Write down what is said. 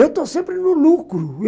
Eu estou sempre no lucro.